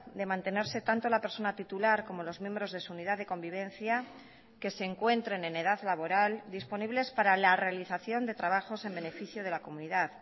de mantenerse tanto la persona titular como los miembros de su unidad de convivencia que se encuentren en edad laboral disponibles para la realización de trabajos en beneficio de la comunidad